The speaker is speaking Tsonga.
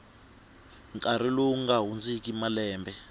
nkarhi lowu nga hundziki malembe